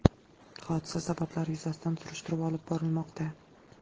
Hodisa sabablari yuzasidan surishtiruv olib borilmoqda.